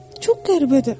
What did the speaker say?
Çox qəribədir.